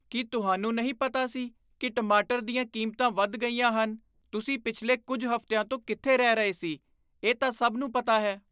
ਕੀ ਤੁਹਾਨੂੰ ਨਹੀਂ ਪਤਾ ਸੀ ਕਿ ਟਮਾਟਰ ਦੀਆਂ ਕੀਮਤਾਂ ਵੱਧ ਗਈਆਂ ਹਨ? ਤੁਸੀਂ ਪਿਛਲੇ ਕੁੱਝ ਹਫ਼ਤਿਆਂ ਤੋਂ ਕਿੱਥੇ ਰਹਿ ਰਹੇ ਸੀ, ਇਹ ਤਾਂ ਸਭ ਨੂੰ ਪਤਾ ਹੈ?